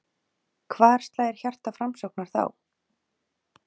Hvar slær hjarta Framsóknar þá?